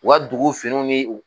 U ka dugu finiw ni u